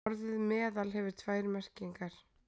Orðið meðal hefur tvær merkingar.